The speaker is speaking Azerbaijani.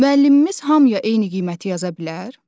Müəllimimiz hamıya eyni qiyməti yaza bilər?